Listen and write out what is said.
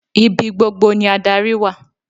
Ibi gbogbo ni adarí wà.